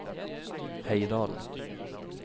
Heidal